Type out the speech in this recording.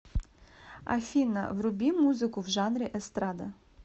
афина вруби музыку в жанре эстрада